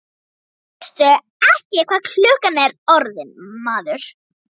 Veistu ekki hvað klukkan er orðin, maður?